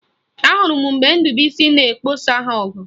Ahụrụ m mgbe Ndubuisi na-egbosa ha ọgụ